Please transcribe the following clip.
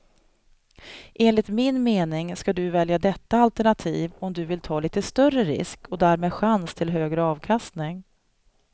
Enligt min mening ska du välja detta alternativ om du vill ta lite större risk och därmed chans till högre avkastning.